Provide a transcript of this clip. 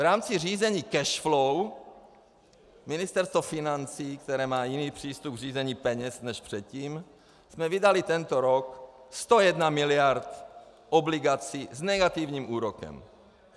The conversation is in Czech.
V rámci řízení cash flow Ministerstvo financí, které má jiný přístup k řízení peněz než předtím, jsme vydali tento rok 101 miliard obligací s negativním úrokem.